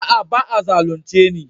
Aa, ba'a zalunce ni.